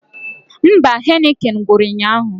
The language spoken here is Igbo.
Mba, Heineken gwụrụ ụnyaahụ